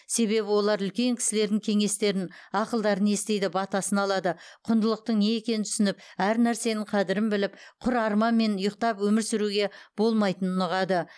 себебі олар үлкен кісілердің кеңестерін ақылдарын естиді батасын алады құндылықтың не екенін түсініп әр нәрсенің қадірін біліп құр арманмен ұйықтап өмір сүруге болмайтынын ұғады